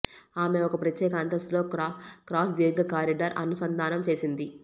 ఆమె ఒక ప్రత్యేక అంతస్తులో క్రాస్ దీర్ఘ కారిడార్ అనుసంధానం చేసింది